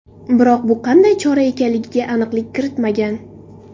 Biroq bu qanday chora ekanligiga aniqlik kiritmagan.